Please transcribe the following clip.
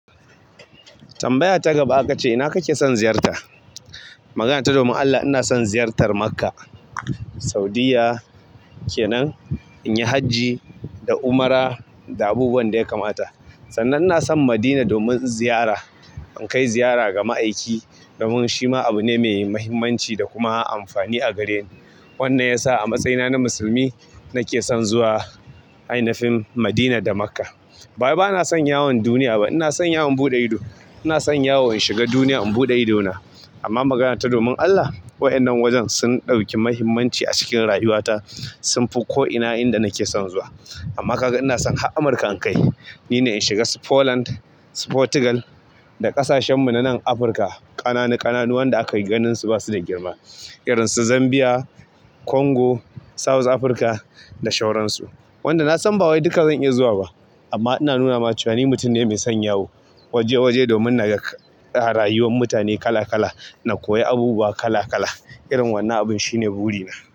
Tambaya ta gaba aka ce. Ina kake son ziyarta? Magana ta domin Allah ina son ziyartar Makkah, Saudiyya kenan, in yi hajji da umra da abubuwan da ya kamata. Sannan ina son Madina domin ziyara. In kai ziyara ga ma'aiki domin shi ma abu ne mai muhimmanci da kuma amfani a gareni. Wannan yasa a matsayina na musulmi nake son zuwa ainafin Madina da Makkah. Bawai bana son yawon duniya ba. Ina son yawon in buɗe ido. Ina son yawon in shiga duniya in buɗe idona. Amma magana ta domin Allah, waƴannan wajen sun ɗauki muhimmanci a cikin rayuwata, sun fi ko'ina inda nake son zuwa. Amma kaga ina son har Amurka in kai. Ni ne in shiga su Poland, su Portugal da ƙasashen mu na nan Afirka. Ƙananu ƙananu wanda aka ganin su basu da girma irinsu zambiya kongo saut afrika da shauransu. Wanda nasan ba wai duka zan iya zuwa ba. Amma ina nuna ma cewa ni mutum ne mai son yawo waje waje domin naga kag rayuwar mutane kala kala na koyi abubuwa kala kala. Irin wannan abun shi ne burina.